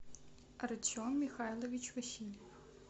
артем михайлович васильев